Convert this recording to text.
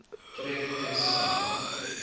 tref tus sen